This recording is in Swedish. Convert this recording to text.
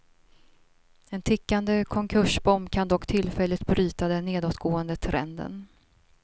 En tickande konkursbomb kan dock tillfälligt bryta den nedåtgående trenden.